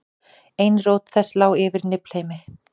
ein rót þess lá yfir niflheimi